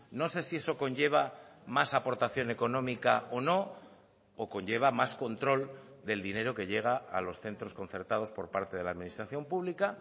no sé si eso conlleva más aportación económica o no o conlleva más control del dinero que llega a los centros concertados por parte de la administración pública